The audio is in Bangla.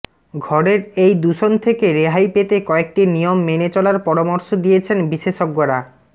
ঘরের এই দূষণ থেকে রেহাই পেতে কয়েকটি নিয়ম মেনে চলার পরামর্শ দিয়েছেন বিশেষজ্ঞরা